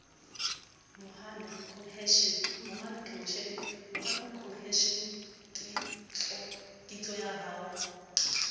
momahano cohesion ketso ya ho